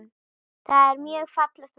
Það er mjög fallegt verk.